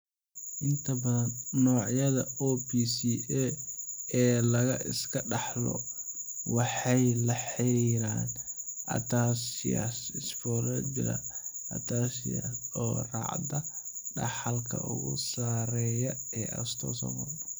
Inta badan noocyada OPCA ee la iska dhaxlo waxay la xiriiraan ataxias spinocerebellar ataxias oo raacda dhaxalka ugu sarreeya ee autosomal.